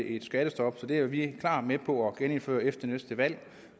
et skattestop det er vi klart med på at genindføre efter næste valg